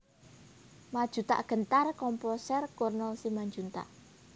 Maju Tak Gentar Komposer Cornel Simanjuntak